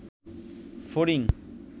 ফড়িং